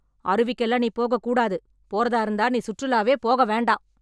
அருவிக்கெல்லாம் நீ போக கூடாது, போறதா இருந்தா நீ சுற்றுலாவே போக வேண்டாம்,